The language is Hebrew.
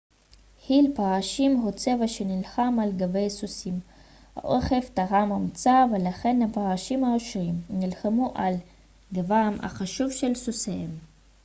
חיל פרשים הוא צבא שנלחם על גבי סוסים האוכף טרם הומצא ולכן הפרשים האשורים נלחמו על גבם החשוף של סוסיהם